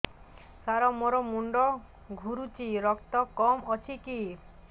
ସାର ମୋର ମୁଣ୍ଡ ଘୁରୁଛି ରକ୍ତ କମ ଅଛି କି